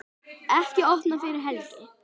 Ekki opnað fyrir helgi